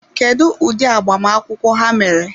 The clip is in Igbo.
Kedụ ụdị agbamakwụkwọ ha mere?